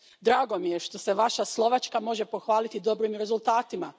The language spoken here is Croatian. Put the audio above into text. Drago mi je što se Vaša Slovačka može pohvaliti dobrim rezultatima.